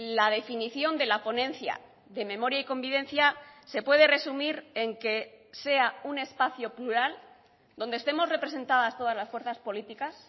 la definición de la ponencia de memoria y convivencia se puede resumir en que sea un espacio plural donde estemos representadas todas las fuerzas políticas